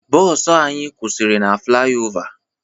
Bọọsụ anyị kwụsịrị na flayova